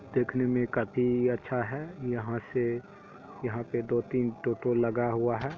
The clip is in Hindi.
देखने में काफी अच्छा है यहाँ से यहाँ पे दो तीन टो टो लगा हुआ है।